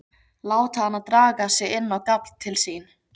Láta hana draga sig inn á gafl til sín.